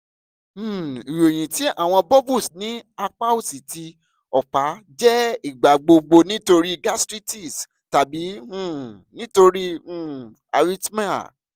um iroyin ti awọn bubbles ni apa osi ti ọpa jẹ igbagbogbo nitori gastritis tabi um nitori um arithmia